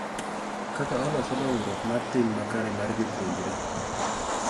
Kaka oloso dongruok mar tim makare mar jopuonjre.